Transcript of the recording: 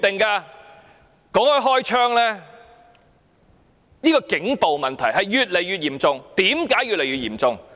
談到開槍，警暴問題越來越嚴重。